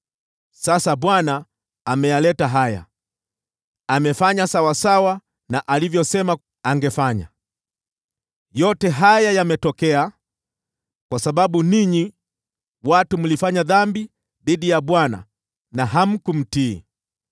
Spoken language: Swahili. Sasa Bwana ameyaleta haya, amefanya sawasawa na vile alivyosema angefanya. Yote haya yametokea kwa sababu ninyi mlifanya dhambi dhidi ya Bwana na hamkumtii.